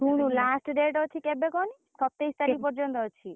ଶୁଣୁ last date ଅଛି କେବେ କହନି ସତେଇଶ ତାରିଖ୍ ପର୍ଯନ୍ତ ଅଛି।